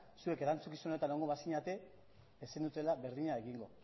zuek erantzukizunetan egongo bazinete ez zenutela berdina egingo